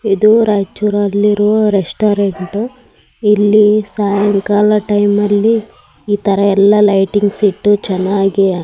ಇದು ರಾಯಚೂರ್ ಅಲ್ಲಿರೋ ರೆಸ್ಟೋರೆಂಟ್ ಇಲ್ಲಿ ಸಾಯಂಕಾಲ ಟೈಮ್ ಅಲ್ಲಿ ಇತರ ಎಲ್ಲ ಲೈಟಿಂಗ್ಸ್ ಇಟ್ಟು ಚೆನ್ನಾಗಿ --